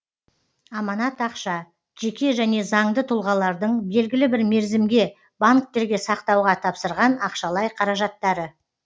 аманат ақша жеке және заңды тұлғалардың белгілі бір мерзімге банктерге сақтауға тапсырған ақшалай қаражаттары